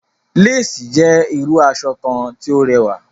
Lace is abeautiful kind of fabric